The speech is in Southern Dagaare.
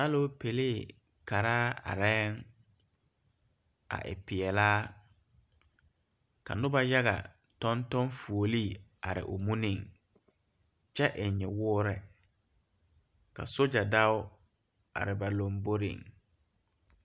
Aloopɛlee karaa arɛɛŋ a e peɛlaa ka nobɔ yaga tɔŋ tɔŋ fuolee are muniŋ kyɛ eŋ nyɛwoore ka sogyɛ dao are ba puoriŋ.